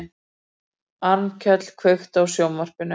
Arnkell, kveiktu á sjónvarpinu.